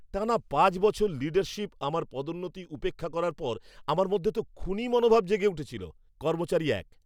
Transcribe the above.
টানা পাঁচ বছর লীডারশিপ আমার পদোন্নতি উপেক্ষা করার পর আমার মধ্যে তো খুনী মনোভাব জেগে উঠেছিল। কর্মচারী এক